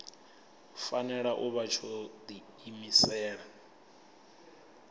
fanela u vha tsho diimisela